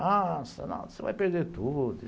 Ah, você vai perder tudo.